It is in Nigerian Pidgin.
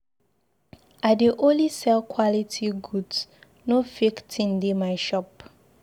I dey only sell quality goods, no fake thing dey my shop.